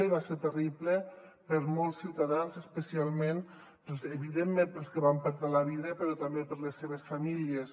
i va ser terrible per a molts ciutadans especialment evidentment per als que hi van perdre la vida però també per a les seves famílies